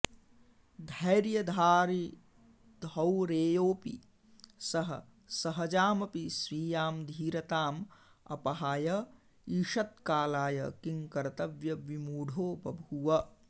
धैर्यधारिधौरेयोऽपि सः सहजामपि स्वीयां धीरताम् अपहाय ईषत्कालाय किंकर्तव्यविमूढो बभूव